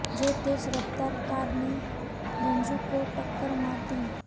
तो तेज रफ्तार कार ने धन्जू को टक्कर मार दी